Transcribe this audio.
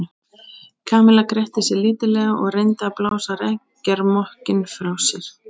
Kamilla gretti sig lítillega og reyndi að blása reykjarmökkinn frá sér.